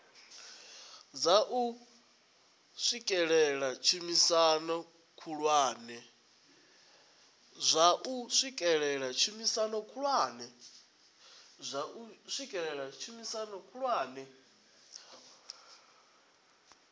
dza u swikelela tshumisano khulwane